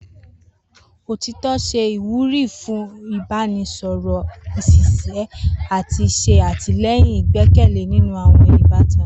Otitọ ṣe iwuri fun ibaraẹnisọrọ ṣiṣi ati ṣe atilẹyin igbẹkẹle ninu awọn ibatan.